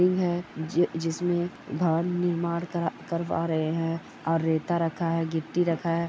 है जिस जिसमें घर निर्माण कर करवा रहे हैं और रेता रखा है गिट्टी रखा है।